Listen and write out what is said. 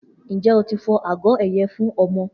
Njẹ o ti fọ agọ ẹyẹ fun ọmọ?